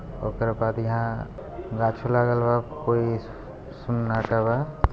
ओकरा बाद यहाँ गाछी लागल बा फूल ये सन्नाटा बा।